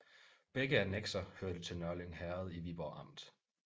Begge annekser hørte til Nørlyng Herred i Viborg Amt